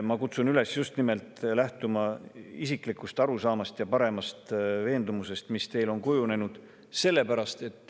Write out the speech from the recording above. Ma kutsun üles lähtuma just nimelt isiklikust arusaamast ja paremast veendumusest, mis teil on kujunenud.